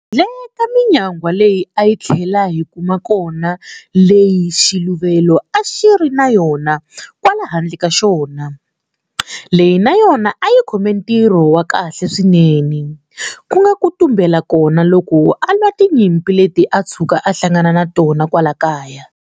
Handle ka minyangwa leyi a hi tlhela hi kuma khona leyi xiluvelo a xi ri na yona kwala handle ka xona, leyi na yona a yi khome ntirho wa kahle swinene, ku nga ku tumbela kona loko a lwa tinyimpi leti a tshuka a hlangana na tona kwala kaya.